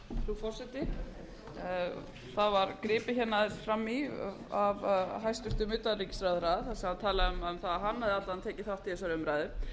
forseti það var gripið aðeins fram í af hæstvirtum utanríkisráðherra sem talaði um að hann hefði alla vega tekið þátt í þessari umræðu frá því að